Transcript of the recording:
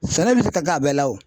Sɛnɛ bɛ se ka k'a bɛɛ la o.